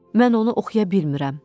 Mən onu oxuya bilmirəm.